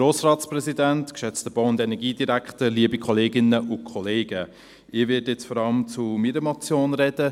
Ich werde jetzt vor allem zu meiner Motion reden.